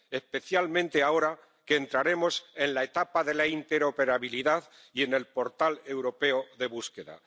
especialmente ahora que entraremos en la etapa de la interoperabilidad y del portal europeo de búsqueda.